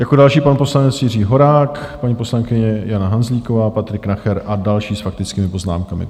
Jako další pan poslanec Jiří Horák, paní poslankyně Jana Hanzlíková, Patrik Nacher a další s faktickými poznámkami.